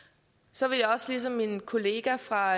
så vil jeg også gerne ligesom min kollega fra